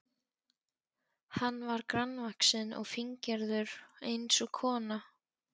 Hann var grannvaxinn og fíngerður eins og kona.